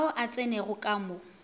ao a tsenego ka mo